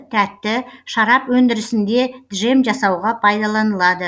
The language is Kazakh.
тәтті шарап өндірісінде джем жасауға пайдаланылады